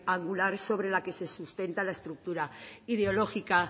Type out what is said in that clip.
angular sobre la que se sustenta la estructura ideológica